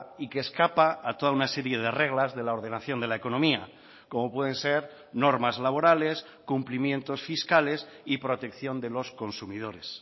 y que escapa a toda una serie de reglas de la ordenación de la economía como pueden ser normas laborales cumplimientos fiscales y protección de los consumidores